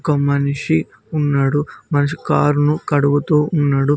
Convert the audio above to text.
ఒక మనిషి ఉన్నాడు మనిషి కారును కడుగుతూ ఉన్నాడు.